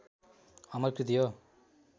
अमर कृति हो